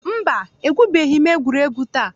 Mba, egwubeghi m egwuregwu taa.